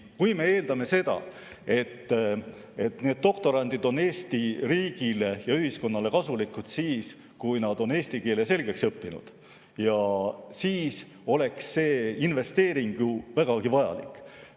Kui me eeldame, et need doktorandid on Eesti riigile ja ühiskonnale kasulikud siis, kui nad on eesti keele selgeks õppinud, siis oleks see investeering ju vägagi vajalik.